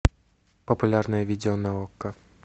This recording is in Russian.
популярное видео на окко